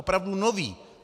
Opravdu nový!